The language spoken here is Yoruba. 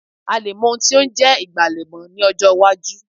A lè mọ́ ohun tí ó ń jẹ́ ìgbàlẹ̀ mọ́ ní ọjọ́ iwájú